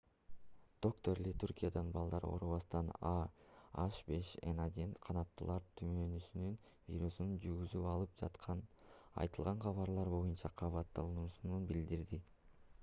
доктор ли түркиядагы балдар оорубастан а h5n1 канаттуулар тумоосунун вирусун жугузуп алып жатканы айтылган кабарлар боюнча кабатырлануусун билдирди